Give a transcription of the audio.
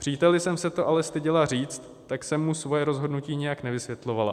Příteli jsem se to ale styděla říct, tak jsem mu svoje rozhodnutí nějak nevysvětlovala.